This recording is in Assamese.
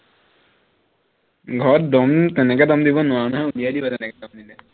ঘৰত দম তেনেকে দম দিব নোৱাৰো নহয় উলিয়াই দিব তেনেকে দম দিলে